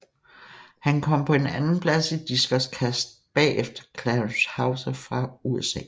Han kom på en andenplads i diskoskast bagefter Clarence Houser fra USA